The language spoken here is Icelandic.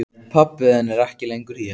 Pabbi þinn er ekki lengur hér.